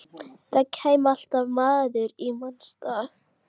Það kæmi alltaf maður í manns stað.